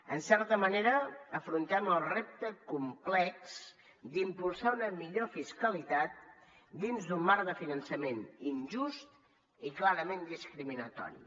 en certa manera afrontem el repte complex d’impulsar una millor fiscalitat dins d’un marc de finançament injust i clarament discriminatori